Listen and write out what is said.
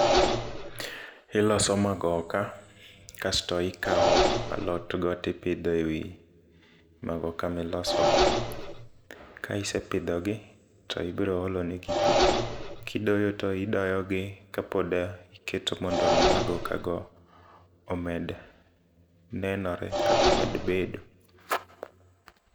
Iloso magoka kasto ikawo alot go tipidhe wi magoka miloso go. Ka isepidho gi to ibro olo ne gi pii. Kidoyo to idoyo gi kapod iketo mondo mi magoka go omed nenore kata omed bedo.